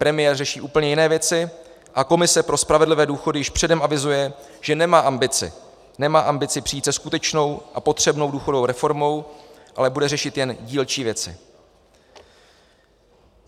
Premiér řeší úplně jiné věci a komise pro spravedlivé důchody již předem avizuje, že nemá ambici přijít se skutečnou a potřebnou důchodovou reformou, ale bude řešit jen dílčí věci.